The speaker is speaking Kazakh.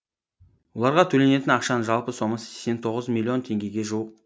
оларға төленетін ақшаның жалпы сомасы сексен тоғыз миллион теңгеге жуық